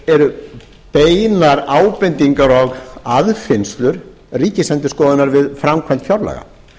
eru beinar ábendingar og aðfinnslur ríkisendurskoðunar við framkvæmd fjárlaga